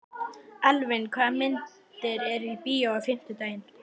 Elvin, hvaða myndir eru í bíó á fimmtudaginn?